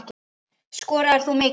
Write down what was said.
Skoraðir þú mikið?